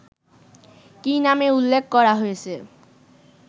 কি নামে উল্লেখ করা হয়েছে